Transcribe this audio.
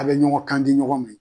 A bɛ ɲɔgɔn kandi ɲɔgɔn ma.